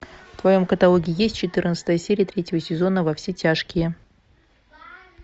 в твоем каталоге есть четырнадцатая серия третьего сезона во все тяжкие